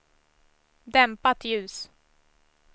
dämpat ljus